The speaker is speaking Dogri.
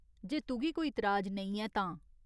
जे तुगी कोई तराज नेईं ऐ तां।